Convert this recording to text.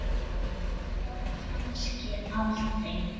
Viltu losna-?